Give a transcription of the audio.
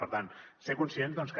per tant ser conscients que